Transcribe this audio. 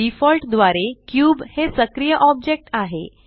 default द्वारे cube हे सक्रिय ऑब्जेक्ट आहे